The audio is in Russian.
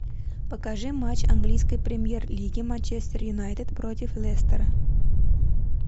покажи матч английской премьер лиги манчестер юнайтед против лестера